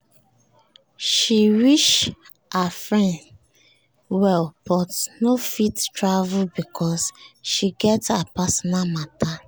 she wish her friend well but no fit travel because she get her personal matter